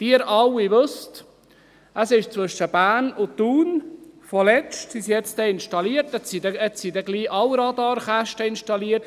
Sie alle wissen: Man hat zwischen Bern und Thun kürzlich ... Sie sind bald installiert, jetzt sind bald alle Radarkästen installiert.